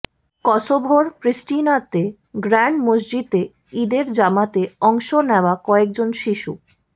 কসোভোর প্রিস্টিনাতে গ্র্যান্ড মসজিদে ঈদের জামাতে অংশ নেওয়া কয়েকজন শিশু